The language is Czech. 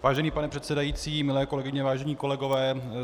Vážený pane předsedající, milé kolegyně, vážení kolegové.